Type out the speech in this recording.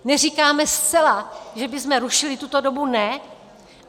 Neříkáme zcela, že bychom rušili tuto dobu, ne.